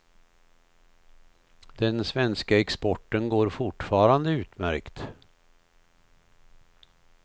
Den svenska exporten går fortfarande utmärkt.